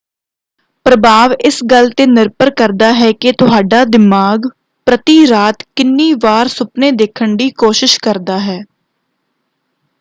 ਪ੍ਰਭਾਵ ਇਸ ਗੱਲ ‘ਤੇ ਨਿਰਭਰ ਕਰਦਾ ਹੈ ਕਿ ਤੁਹਾਡਾ ਦਿਮਾਗ ਪ੍ਰਤੀ ਰਾਤ ਕਿੰਨੀ ਵਾਰ ਸੁਪਨੇ ਦੇੇਖਣ ਦੀ ਕੋਸ਼ਿਸ਼ ਕਰਦਾ ਹੈ।